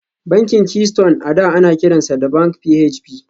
Bankin Keystone a da ana kiransa da Bank PHB